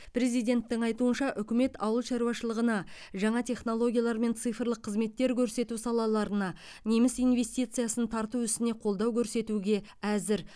президенттің айтуынша үкімет ауыл шаруашылығына жаңа технологиялар мен цифрлық қызметтер көрсету салаларына неміс инвестициясын тарту ісіне қолдау көрсетуге әзір